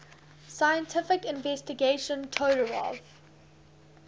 scientific investigation todorov